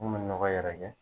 N kun mi n nɔgɔ yɛrɛkɛ